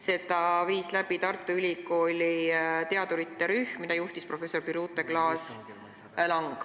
Selle viis läbi Tartu Ülikooli teadurite rühm, mida juhtis professor Birute Klaas-Lang.